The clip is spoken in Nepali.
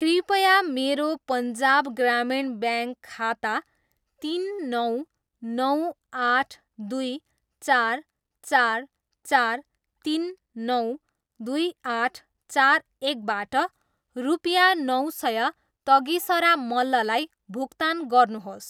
कृपया मेरो पन्जाब ग्रामीण ब्याङ्क खाता तिन नौ नौ आठ दुई चार चार चार तिन नौ दुई आठ चार एकबाट रुपियाँ नौ सय तगिसरा मल्ललाई भुक्तान गर्नुहोस्।